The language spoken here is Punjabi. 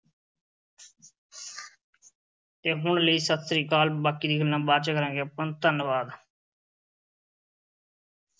ਤੇ ਹੁਣ ਲਈ ਸਤਿ ਸ੍ਰੀ ਅਕਾਲ। ਬਾਕੀ ਦੀਆਂ ਗੱਲਾਂ ਬਾਅਦ ਚ ਕਰਾਂਗੇ ਆਪਾਂ। ਧੰਨਵਾਦ l